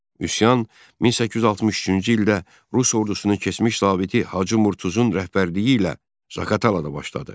Üsyan 1863-cü ildə rus ordusunun keçmiş zabiti Hacı Murtuzun rəhbərliyi ilə Zaqatalada başladı.